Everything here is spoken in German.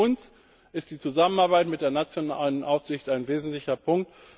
Für uns ist die Zusammenarbeit mit der nationalen Aufsicht ein wesentlicher Punkt.